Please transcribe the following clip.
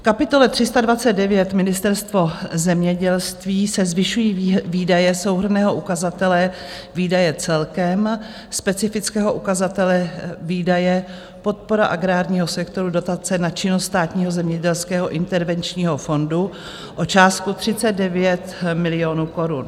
V kapitole 329, Ministerstvo zemědělství, se zvyšují výdaje souhrnného ukazatele Výdaje celkem, specifického ukazatele Výdaje - podpora agrárního sektoru, Dotace na činnost Státního zemědělského intervenčního fondu o částku 39 milionů korun.